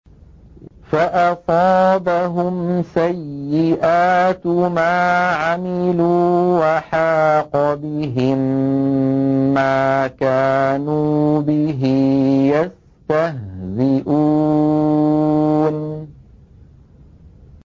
فَأَصَابَهُمْ سَيِّئَاتُ مَا عَمِلُوا وَحَاقَ بِهِم مَّا كَانُوا بِهِ يَسْتَهْزِئُونَ